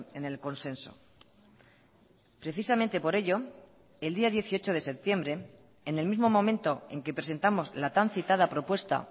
en el consenso precisamente por ello el día dieciocho de septiembre en el mismo momento en que presentamos la tan citada propuesta